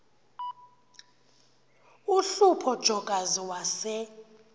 uhlupho jokazi wase